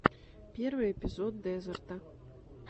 первый эпизод дезерта